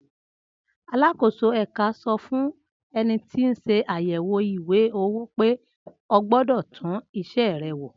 Alákòóso ẹ̀ka sọ fún ẹni tí ń ṣe àyèwò ìwé-owó pé ógbọ́dọ̀ tún isẹ́ rè wò.